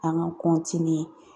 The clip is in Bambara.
An ka